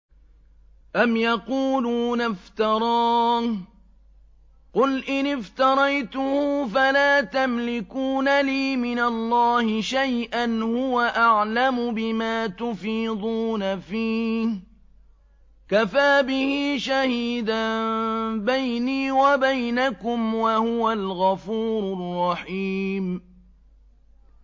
أَمْ يَقُولُونَ افْتَرَاهُ ۖ قُلْ إِنِ افْتَرَيْتُهُ فَلَا تَمْلِكُونَ لِي مِنَ اللَّهِ شَيْئًا ۖ هُوَ أَعْلَمُ بِمَا تُفِيضُونَ فِيهِ ۖ كَفَىٰ بِهِ شَهِيدًا بَيْنِي وَبَيْنَكُمْ ۖ وَهُوَ الْغَفُورُ الرَّحِيمُ